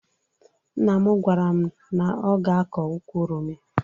Nna m gwara m na ọ ga-akọ ukwu oroma